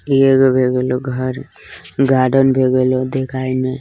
ए एगो लो घर गार्डन भे गइल देखाई में।